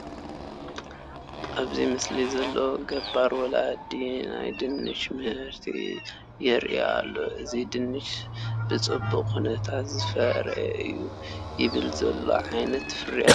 ኣብዚ ምስሊ ዘለዉ ገባር ወላዲ ናይ ድንች ምህርቲ የርእዩ ኣለዉ፡፡ እዚ ድንች ብፅቡቕ ኩነታት ዝፈረየ እዩ፡፡ ይበል ዘብል ዓይነት ፍርያት እዩ፡፡